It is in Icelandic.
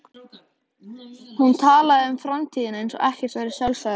Tónleikarnir voru snemma kvölds og við tókum stelpuna mína með.